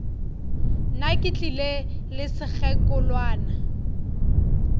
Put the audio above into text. nna ke tlile le sekgekolwana